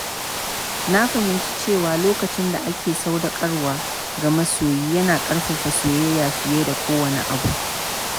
Na fahimci cewa lokacin da ake sadaukarwa ga masoyi yana ƙarfafa soyayya fiye da kowanne abu.